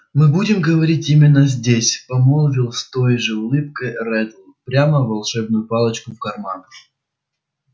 мы будем говорить именно здесь помолвил с той же улыбкой реддл прямо волшебную палочку в карман